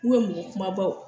mɔgɔ kumabaw.